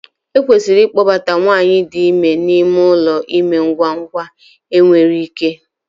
Ekwesịrị ịkpọbata nwanyị dị ime n'ime ụlọ ime ngwa ngwa enwere ike